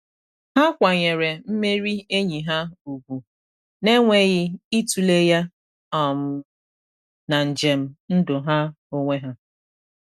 Ha kwanyere mmeri enyi ha ugwu, na enweghị itule ya um na njem ndụ ha onwe ha.